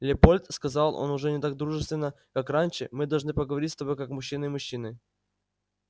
лепольд сказал он уже не так дружественно как раньше мы должны поговорить с тобой как мужчины и мужчины